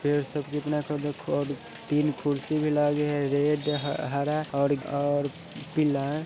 एक गार्डनर है| कुर्सी और बेड है दिख रही है| तीन खुरी रेड और हरा पीला डाली हुई है| पेड़ हरा और और पीला है।